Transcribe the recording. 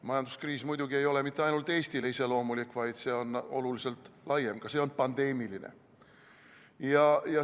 Majanduskriis muidugi ei ole mitte ainult Eestile iseloomulik, vaid see on oluliselt laiem, ka see on pandeemiline.